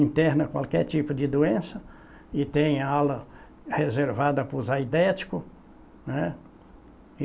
Interna qualquer tipo de doença e tem ala reservada para os aidéticos, né